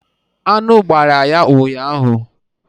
Anụ gbara ya ụnyahụ.